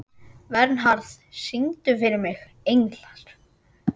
Vernharð, syngdu fyrir mig „Englar“.